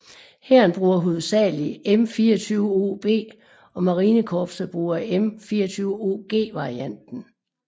Hæren bruger hovedsagelig M240B og marinekorpset bruger M240G varianten